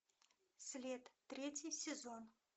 след третий сезон